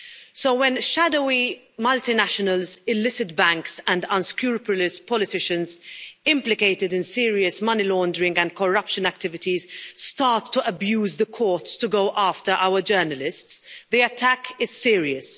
So when shadowy multinationals, illicit banks and unscrupulous politicians implicated in serious money laundering and corruption activities start to abuse the courts to go after our journalists, the attack is serious.